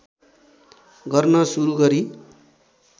गर्न सुरु गरी